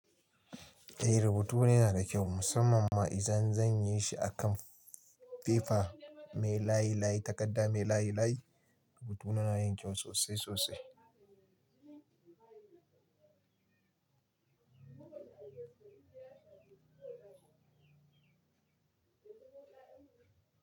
Eh rubutu na yana da kyau musamman ma idan zan yi shi a kan fefa mai layi layi takarda mai layi layi rubutuna na yin kyau sosai sosai.